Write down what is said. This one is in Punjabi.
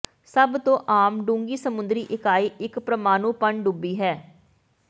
ਸਭ ਤੋਂ ਆਮ ਡੂੰਘੀ ਸਮੁੰਦਰੀ ਇਕਾਈ ਇਕ ਪ੍ਰਮਾਣੂ ਪਣਡੁੱਬੀ ਹੈ